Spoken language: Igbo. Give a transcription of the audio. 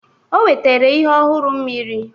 O wetara ihe ọhụrụ mmiri